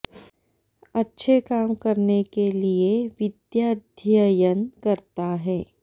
अच्छे काम करने के लिए विद्याध्ययन करता है